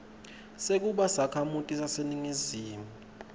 sekuba sakhamuti saseningizimu